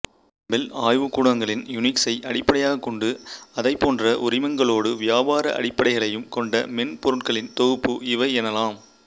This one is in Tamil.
பெல் ஆய்வுக்கூடங்களின் யூனிக்சை அடிப்படையக் கொண்டு அதைப் போன்ற உரிமங்களோடு வியாபார அடிப்படைகளையும் கொண்ட மென்பொருட்களின் தொகுப்பு இவையெனலாம்